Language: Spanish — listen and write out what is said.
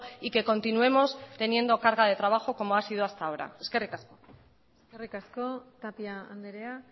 y que continuemos teniendo carga de trabajo como ha sido hasta ahora eskerrik asko eskerrik asko tapia andrea